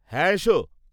হ্যাঁ, এসো।